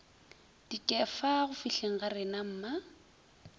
dikefa go fihleng ga renamma